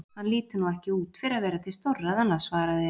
Hann lítur nú ekki út fyrir að vera til stórræðanna, svaraði